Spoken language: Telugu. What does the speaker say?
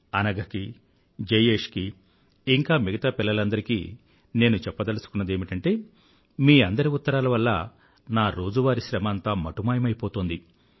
అనఘకీ జయేష్ కీ ఇంకా మిగతా పిల్లలందరికీ నేను చెప్పదలుచుకున్నదేమిటంటే మీ అందరి ఉత్తరాల వల్లా నా రోజువారీ శ్రమ అంతా మటుమాయమైపోతుంది